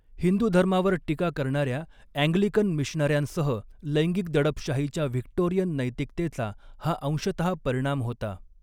हिंदू धर्मावर टीका करणाऱ्या अँग्लिकन मिशनऱ्यांसह लैंगिक दडपशाहीच्या व्हिक्टोरियन नैतिकतेचा हा अंशतः परिणाम होता.